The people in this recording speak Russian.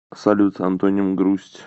салют антоним грусть